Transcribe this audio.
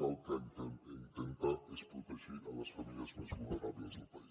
que el que intenta és protegir les famílies més vulnerables del país